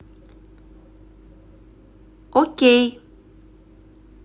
окей